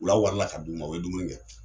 Wula warala ka d'u ma , u be dumuni kɛ.